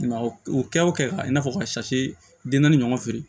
Nka o kɛ o kɛ ka i n'a fɔ ka den naani ɲɔgɔn feere